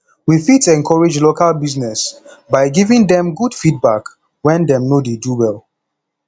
we fit encourage local business by giving dem good feedback when dem no dey do well